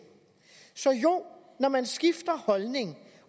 så jo når man skifter holdning